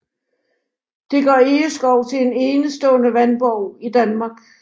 Det gør Egeskov til en enestående vandborg i Danmark